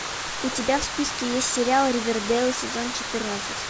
у тебя в списке есть сериал ривердейл сезон четырнадцать